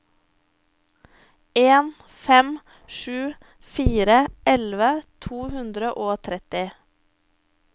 en fem sju fire elleve to hundre og tretti